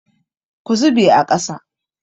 Ku zube a ƙasa!